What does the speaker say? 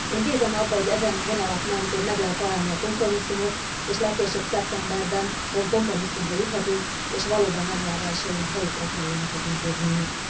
Én bízom abban, hogy ezen vonalak mentén meg lehet találni a kompromisszumot, és legkésőbb szeptemberben kompromisszumra juthatunk, és valóban január elsején helyükre kerülnek az intézmények.